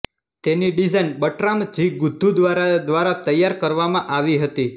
તેની design Bertram G Goodhue દ્વારા દ્વારા તૈયાર કરવામાં આવી હતી